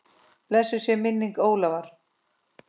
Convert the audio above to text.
Blessuð sé minning Ólafar.